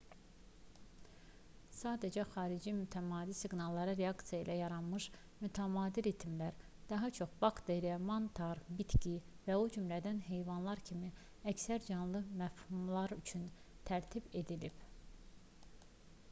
sadəcə xarici mütəmadi siqnallara reaksiya ilə yaranmamış mütəmadi ritmlər daha çox bakteriya mantar bitki və o cümlədən heyvanlar kimi əksər canlı məfhumlar üçün tərtib edilib